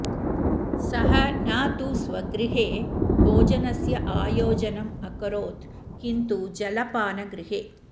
सः न तु स्वगृहे भोजनस्य आयोजनम् अकरोत् किन्तु जलपानगृहे